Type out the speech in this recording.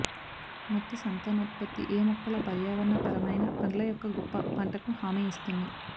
మట్టి సంతానోత్పత్తి ఏ మొక్కల పర్యావరణ పరమైన పండ్ల యొక్క గొప్ప పంటకు హామీ ఇస్తుంది